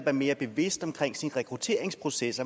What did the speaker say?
er mere bevidst om sin rekrutteringsproces